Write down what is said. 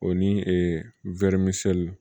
O ni e wɔrimiso